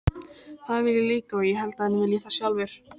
Það vil ég líka og ég held að hann vilji það sjálfur.